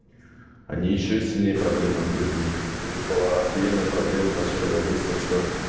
они ещё сильнее проблем отгребли и у них была ахуенная проблема в начале войны с тем что